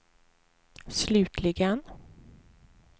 slutligen